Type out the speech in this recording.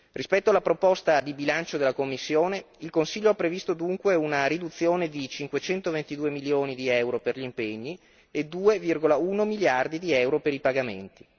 Rispetto alla proposta di bilancio della Commissione, il Consiglio ha previsto dunque una riduzione di cinquecento ventidue milioni di euro per gli impegni e 2,1 miliardi di euro per i pagamenti.